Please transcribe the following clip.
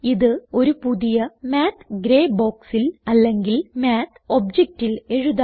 ഇത് ഒരു പുതിയ മാത്ത് ഗ്രേ ബോക്സിൽ അല്ലെങ്കിൽ മാത്ത് ഒബ്ജക്റ്റിൽ എഴുതാം